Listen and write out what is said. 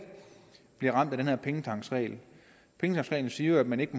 bliver ramt af den her pengetanksregel pengetanksreglen siger jo at man ikke